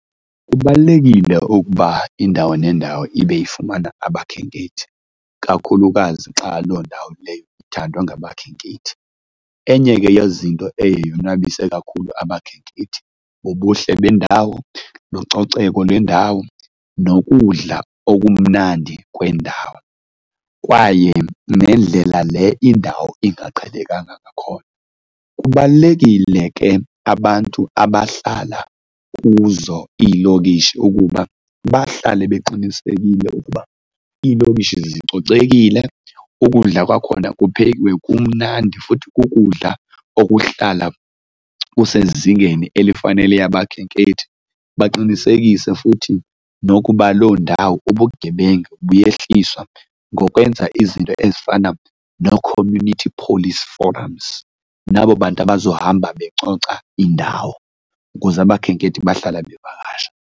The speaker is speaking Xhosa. Kubalulekile ukuba indawo nendawo ibe ifumana abakhenkethi, kakhulukazi xa loo ndawo leyo ithandwa nabakhenkethi. Enye ke yezinto eye yonwabise kakhulu abakhenkethi bubuhle bendawo, lucoceko lwendawo nokudla okumnandi kwendawo kwaye nendlela le indawo ingaqhelekanga ngakhona. Kubalulekile ke abantu abahlala kuzo iilokishi ukuba bahlale beqinisekile ukuba iilokishi zicocekile, ukudla kwakhona kuphekiwe kumnandi futhi kukudlala okuhlala kusezingeni elifanele abakhenkethi. Baqinisekise futhi nokuba loo ndawo ubugebenga buyeyehliswa ngokwenza izinto ezifana noo-community police forums nabo bantu bazohamba becoca indawo ukuze abakhenkethi bahlala bevakasha.